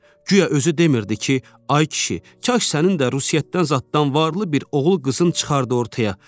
Güya özü demirdi ki, ay kişi, kaş sənin də Rusiyadan zaddan varlı bir oğul qızın çıxardı ortaya.